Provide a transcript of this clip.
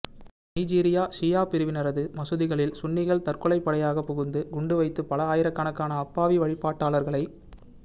Nigeria ஷியா பிரிவினரது மசூதிகளில் சுன்னிகள் தற்கொலைப்படையாக புகுந்து குண்டு வைத்து பல ஆயிரக்கணக்கான அப்பாவி வழிபாட்டாளர்களை